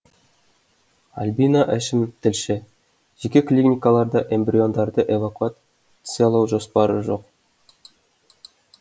альбина әшім тілші жеке клиникаларда эмбриондарды эвакуациялау жоспары жоқ